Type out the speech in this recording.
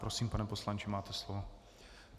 Prosím, pane poslanče, máte slovo.